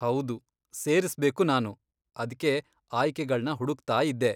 ಹೌದು, ಸೇರ್ಸ್ಬೇಕು ನಾನು, ಅದ್ಕೆ ಆಯ್ಕೆಗಳ್ನ ಹುಡುಕ್ತಾಯಿದ್ದೆ.